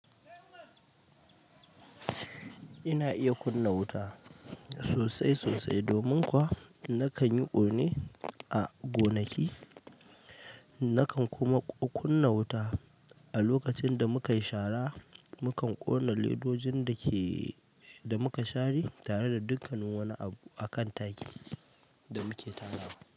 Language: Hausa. Ina iya kunna wuta sosai sosai domin kuwa nakan yi ƙone a gonaki. Nakan kuma kunna wuta a lokacin da muka yi shara. Mukan ƙona ledojin da muka share tare da dukkan wani abu a kan taki da muke tarawa.